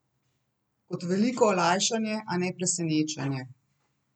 Kot veliko olajšanje, a ne presenečenje.